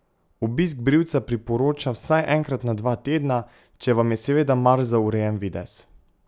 Obisk brivca priporoča vsaj enkrat na dva tedna, če vam je seveda mar za urejen videz.